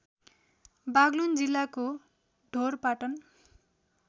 बागलुङ जिल्लाको ढोरपाटन